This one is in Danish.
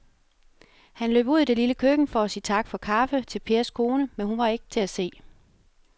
Han løb ud i det lille køkken for at sige tak for kaffe til Pers kone, men hun var ikke til at se.